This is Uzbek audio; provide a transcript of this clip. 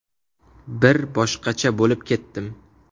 Bir boshqacha bo‘lib ketdim.